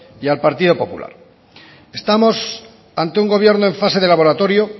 y al partido popular estamos ante un gobierno en fase de laboratorio